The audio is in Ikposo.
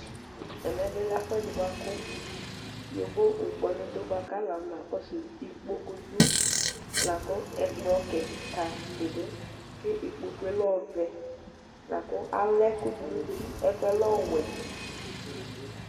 Ɛmɛ bilɛ ɛfʋɛdi bʋakʋ yovo ŋkpɔnʋ dʋ bʋakʋ alʋ akɔnakɔsʋ ikpokʋ dʋ lakʋ ɛkplɔ kika bidʋ ikpokʋe lɛ ɔvɛ ala ɛkʋ dibi dʋ ɛkʋele ɔwɛ